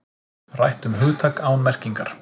Rætt um hugtak án merkingar